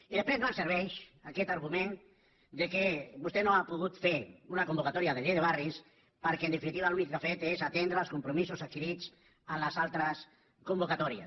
i després no em serveix aquest argument que vostè no ha pogut fer una convocatòria de llei de barris perquè en definitiva l’únic que ha fet és atendre els compromisos adquirits en les altres convocatòries